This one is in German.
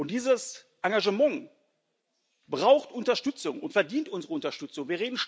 Dieses Engagement braucht Unterstützung und verdient unsere Unterstützung.